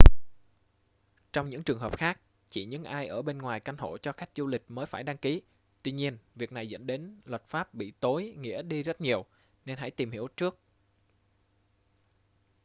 trong những trường hợp khác chỉ những ai ở bên ngoài căn hộ cho khách du lịch mới phải đăng ký tuy nhiên việc này dẫn đến luật pháp bị tối nghĩa đi rất nhiều nên hãy tìm hiểu trước